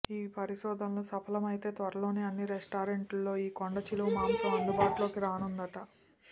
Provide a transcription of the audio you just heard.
ఈ పరిశోధనలు సఫలం అయితే త్వరలోనే అన్ని రెస్టారెంట్ లలో ఈ కొండ చిలువ మాంసం అందుబాటులోకి రానుందట